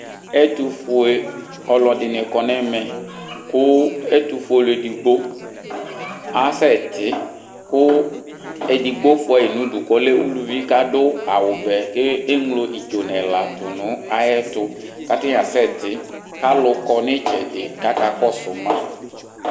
Ɛtufue ɔlɔdini kɔ nu ɛmɛ ku ɛtufuele edigbo asɛ ti ku edigbo fuyi nu idu ku ɔlɛ uluvi kadu awu vɛ ku eɣlo idzonuɛla tu nu ɛtu ku atani asɛti kalu kɔ nu itsɛdi kakakɔsu ma